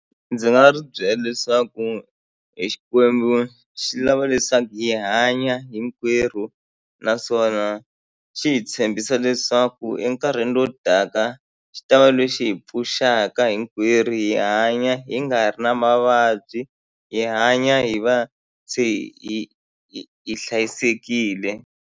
Ndzi nga ri byela leswaku hi e Xikwembu xi lava leswaku hi hanya hinkwerhu naswona xi hi tshembisa leswaku enkarhini lowu taka xi ta va lexi hi pfuxaka hinkwerhu hi hanya hi nga ri na mavabyi hi hanya hi va se hi hi hi hlayisekile.